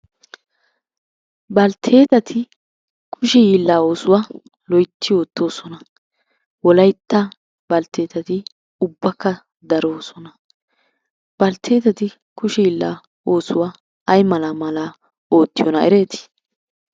Baltteetati kushe hiillaa oosuwa loytti oottoosona. Wolaytta baltteetati ubbakka daroosona. Baltteetati kushe hiillaa oosuwa ay malaa malaa oottiyonaa ereetii?